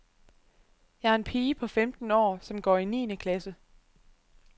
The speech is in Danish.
Jeg er en pige på femten år, som går i niende klasse.